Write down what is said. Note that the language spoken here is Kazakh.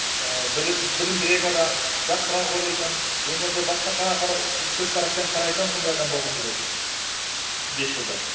ііі білімдірек адам жақсырақ ойлайтын өмірді басқаша көзқараспен қарайтын сондай адам болғым келеді бес жылда